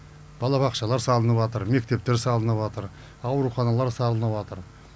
балабақшалар салыныпатыр мектептер салыныпатыр ауруханалар салыныпатыр